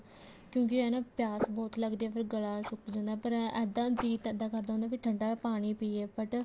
ਕਿਉਂਕਿ ਇਹ ਨਾ ਪਿਆਸ ਬਹੁਤ ਲੱਗਦੀ ਆ ਫ਼ੇਰ ਗਲਾ ਸੁੱਕ ਜਾਂਦਾ ਫ਼ੇਰ ਇੱਦਾਂ ਜੀ ਤਾਂ ਇੱਦਾਂ ਕਰਦਾ ਵੀ ਨਾ ਠੰਡਾ ਪਾਣੀ ਪੀਏ but